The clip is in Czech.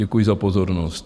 Děkuji za pozornost.